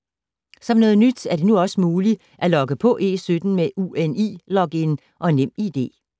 Som noget nyt er det nu også muligt at logge på E17 med UNI-login og Nem ID.